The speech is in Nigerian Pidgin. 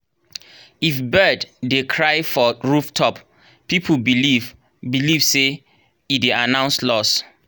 if bird dey cry for rooftop people believe believe say e dey announce loss.